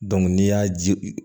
n'i y'a ji